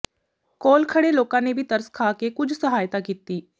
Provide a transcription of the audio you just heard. ਕੋਲ ਖਡ਼੍ਹੇ ਲੋਕਾਂ ਨੇ ਵੀ ਤਰਸ ਖਾ ਕੇ ਕੁਝ ਸਹਾਇਤਾ ਕੀਤੀ